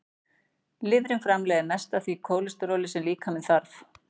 Lifrin framleiðir mest af því kólesteróli sem líkaminn þarf.